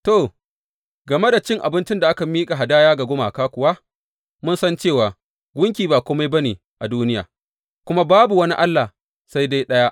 To, game da cin abincin da aka miƙa hadaya ga gumaka kuwa, mun san cewa Gunki ba kome ba ne a duniya, kuma Babu wani Allah sai dai ɗaya.